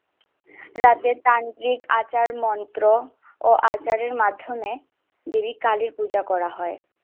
রাজ্যের শান্তি আসার মন্ত্র ও আচারীর মার্ধমে কালী পূজা করা হয়।